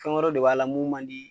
Fɛn wɛrɛw de b'a la mun man d'i ye.